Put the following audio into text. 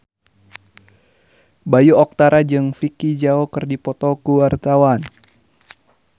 Bayu Octara jeung Vicki Zao keur dipoto ku wartawan